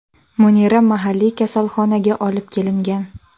Munira mahalliy kasalxonaga olib kelingan.